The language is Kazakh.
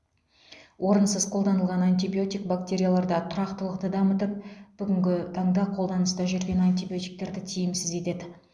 орынсыз қолданылған антибиотик бактерияларда тұрақтылықты дамытып бүгінгі таңда қолданыста жүрген антибиотиктерді тиімсіз етеді